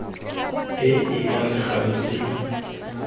e e amegang tse di